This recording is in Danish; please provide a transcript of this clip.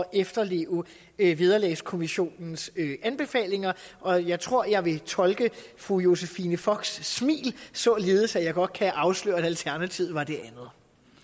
efterleve vederlagskommissionens anbefalinger og jeg tror jeg vil tolke fru josephine focks smil således at jeg godt kan afsløre at alternativet var det andet